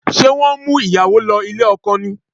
Ṣé wọ́n ń mú ìyàwó lọ ilé ọkọ ni?